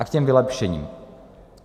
A k těm vylepšením.